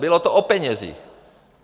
Bylo to o penězích.